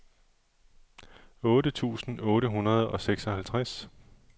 otte tusind otte hundrede og seksoghalvtreds